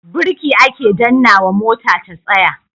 Birki ake dannnawa mota ta tsaya.